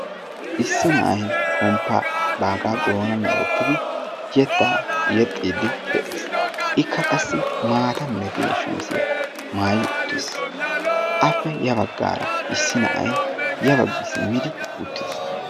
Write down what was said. Issi na'ay baagaa pomppaa doonnan woottidi yeettaa yeexxiidi de'ees. Ikka qassi maata milatiyaa shamiziyaa maayidi uttiis. Appe ya baggaara issi na'ay ya baggi simmidi uttis.